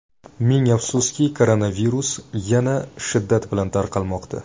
Ming afsuski, koronavirus yana shiddat bilan tarqalmoqda.